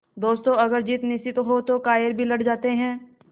दोस्तों अगर जीत निश्चित हो तो कायर भी लड़ जाते हैं